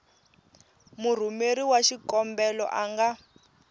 murhumeri wa xikombelo a nga